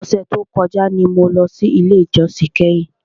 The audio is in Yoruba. Ọ̀sẹ̀ tí o kọjá ni mo lọ sí ilé ìjósìn kẹ́hìn.